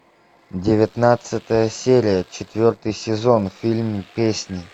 девятнадцатая серия четвертый сезон фильм песни